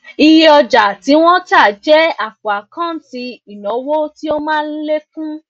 iye ọja tí wọn tá jẹ àpò àkántì ìnáwó tí ó má ń lékún